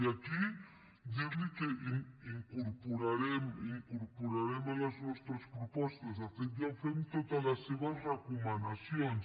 i aquí dirli que incorporarem a les nostres propostes de fet ja ho fem totes les seves recomanacions